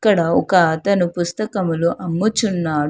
ఇక్కడ ఒక అతను పుస్తకములు అమ్ముచున్నాడు.